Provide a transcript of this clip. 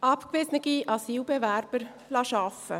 Abgewiesene Asylbewerber arbeiten lassen: